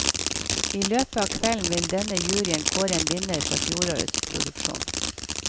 I løpet av kvelden vil denne juryen kåre en vinner fra fjorårets produksjon.